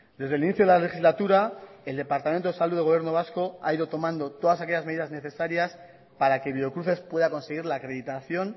desde el inicio de la legislatura el departamento de salud del gobierno vasco ha ido tomando todas aquellas medidas necesarias para que biocruces pueda conseguir la acreditación